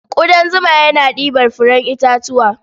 Ƙudan zuma yana ɗibar furen itatuwa.